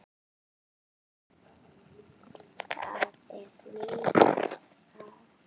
Þetta er mikil saga!